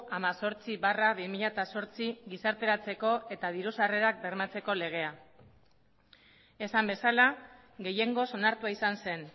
hemezortzi barra bi mila zortzi gizarteratzeko eta diru sarrerak bermatzeko legea esan bezala gehiengoz onartua izan zen